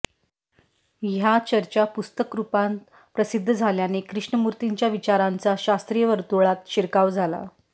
ह्या चर्चा पुस्तकरूपांत प्रसिद्ध झाल्याने कृष्णमूर्तींच्या विचारांचा शास्त्रीय वर्तुळात शिरकाव झाला